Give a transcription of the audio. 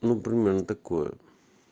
ну примерно такое